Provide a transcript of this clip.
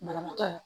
Banabaatɔ